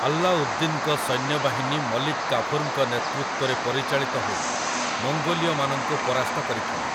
ଆଲ୍ଲାଉଦ୍ଦିନ୍‌ଙ୍କ ସୈନ୍ୟବାହିନୀ ମଲିକ୍ କାଫୁର୍‌ଙ୍କ ନେତୃତ୍ୱରେ ପରିଚାଳିତ ହୋଇ, ମଙ୍ଗୋଲୀୟମାନଙ୍କୁ ପରାସ୍ତ କରିଥିଲେ ।